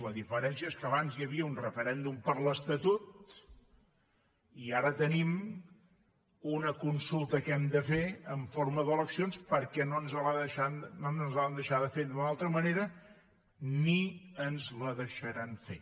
la diferència és que abans hi havia un referèndum per l’estatut i ara tenim una consulta que hem de fer en forma d’eleccions perquè no ens l’han deixada fer d’una altra manera ni ens la deixaran fer